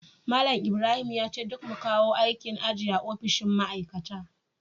Malam Ibrahim yace duk mu kawo aikin aji a ofishin ma'aikata